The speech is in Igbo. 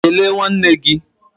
Kelee nwanne nna gị!